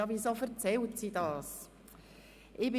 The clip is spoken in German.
Sie werden sich nun fragen, weshalb ich Ihnen dies mitteile.